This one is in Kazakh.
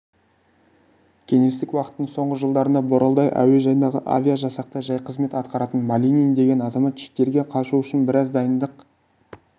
кеңестік уақыттың соңғы жылдарында боралдай әуежайындағы авиажасақта жай қызмет атқаратын малинин деген азамат шетелге қашу үшін біраз дайындық